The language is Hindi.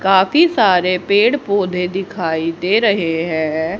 काफी सारे पेड़ पौधे दिखाई दे रहे है।